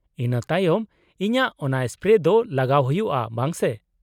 -ᱤᱱᱟᱹ ᱛᱟᱭᱚᱢ ᱤᱧᱟᱹᱜ ᱚᱱᱟ ᱥᱯᱨᱮ ᱫᱚ ᱞᱟᱜᱟᱣ ᱦᱩᱭᱩᱜᱼᱟ, ᱵᱟᱝ ᱥᱮ ?